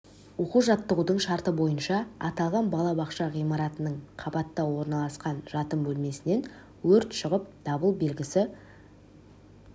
оқу жаттығудың шарты бойынша аталған бала бақша ғимаратының қабатта орналасқан жатын бөлмесінен өрт шығып дабыл белгісі